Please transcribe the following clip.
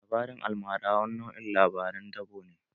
Labarin almara wani nau'in labaran dabo ne